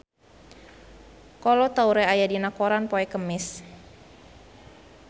Kolo Taure aya dina koran poe Kemis